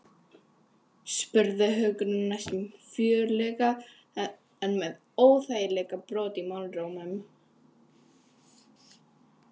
spurði Hugrún næstum fjörlega en með óþægilegan brodd í málrómnum.